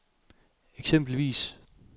eksempelvis